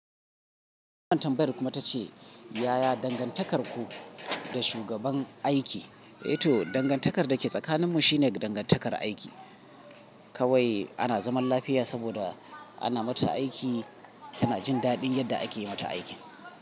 Wannan tambayar kuma ta ce, "Yaya dangantakarku da shugaban aiki?" to dangantakar da ke tsakaninmu shine dangantakar aiki kawai ana zaman lafiya saboda ana mata aiki tana jin daɗin yadda ake yi mata aikin."